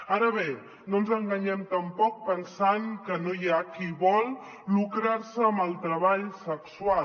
ara bé no ens enganyem tampoc pensant que no hi ha qui vol lucrar se amb el treball sexual